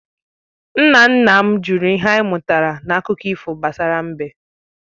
Nna nna m jụrụ ihe anyị mụtara n’akụkọ ifo gbasara mbe